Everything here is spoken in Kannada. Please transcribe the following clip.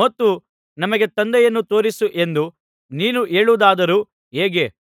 ಮತ್ತು ನಮಗೆ ತಂದೆಯನ್ನು ತೋರಿಸು ಎಂದು ನೀನು ಹೇಳುವುದಾದರು ಹೇಗೆ